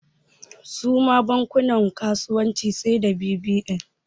Suma bankunan kasuwanci sai da bbn